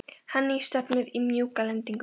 Henný, stefnir í mjúka lendingu?